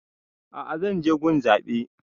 A'a zan je gun zaɓe